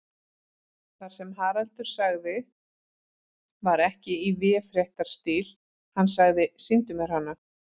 Það sem Haraldur sagði var ekki í véfréttarstíl, hann sagði: Sýndu mér hana.